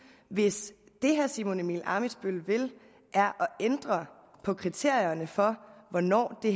hvis det herre simon emil ammitzbøll vil er at ændre på kriterierne for hvornår det